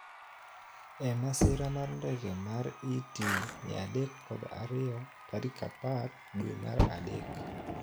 E masira mar ndege mar ET 302 tarik apar dwe mar adek